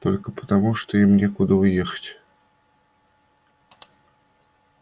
только потому что им некуда уехать